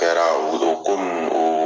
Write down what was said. Kɛra o o ko ninnu o